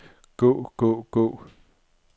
gå gå gå